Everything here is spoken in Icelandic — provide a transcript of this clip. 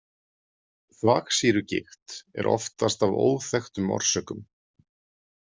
Þvagsýrugigt er oftast af óþekktum orsökum.